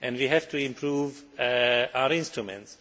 We have to improve our instruments.